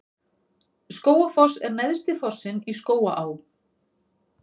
Skógafoss er neðsti fossinn í Skógaá.